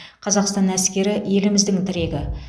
қазақстан әскері еліміздің тірегі